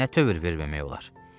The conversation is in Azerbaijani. Nə tövür verməmək olar?